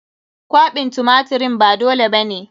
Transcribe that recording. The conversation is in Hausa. Kwaɓin tumatirin ba dole ba ne.